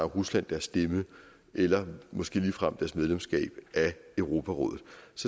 rusland deres stemme eller måske ligefrem deres medlemskab af europarådet